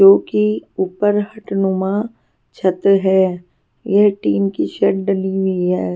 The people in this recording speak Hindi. जो कि ऊपर हटनुमा छत है यह टीन की शर्ट डली हुई है.